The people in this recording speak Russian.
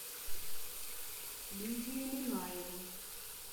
лидию минаеву